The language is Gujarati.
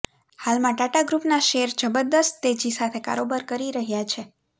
હાલમાં ટાટા ગ્રુપના શેર જબરદસ્ત તેજી સાથે કારોબાર કરી રહ્યા છે